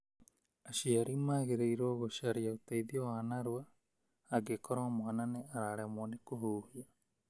Aciari magĩrĩirũo gũcaria ũteithio wa narua angĩkorwo mwana nĩ araremwo nĩ kũhuhia.